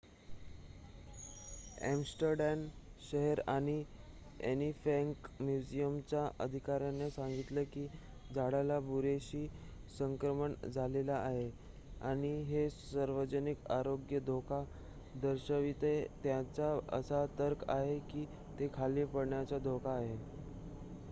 Amsterdam शहर आणि Anne Frank म्युझियमच्या अधिकाऱ्यांनी सांगितले की झाडाला बुरशीचे संक्रमण झाले आहे आणि हे सार्वजनिक आरोग्यास धोका दर्शविते त्यांचा असा तर्क आहे की ते खाली पडण्याचा धोका आहे